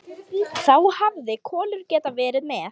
Þá hefði Kolur getað verið með.